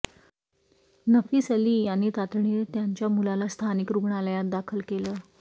नफीस अली यांनी तातडीने त्यांच्या मुलाला स्थानिक रुग्णालयात दाखल केलं